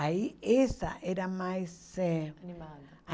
Aí essa era mais eh Animada.